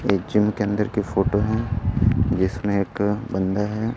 ये जिम के अंदर की फोटो है इसमें एक बंदा है।